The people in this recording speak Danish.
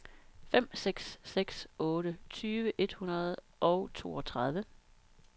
fem seks seks otte tyve et hundrede og toogtredive